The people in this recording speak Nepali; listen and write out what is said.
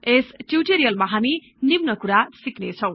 यस ट्युटोरियल् मा हामी निम्न कुरा सिक्नेछौँ